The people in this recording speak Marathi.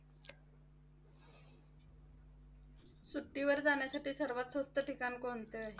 सुट्टीवर जाण्यासाठी सर्वात स्वस्त ठिकाण कोणतं?